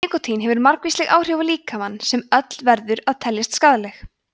nikótín hefur margvísleg áhrif á líkamann sem öll verður að telja skaðleg